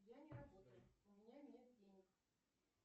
я не работаю у меня нет денег